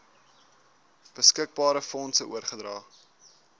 beskikbare fondse oorgedra